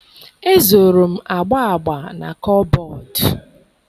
Ezoro m agba agba na kọbọd